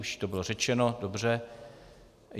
Už to bylo řečeno, dobře.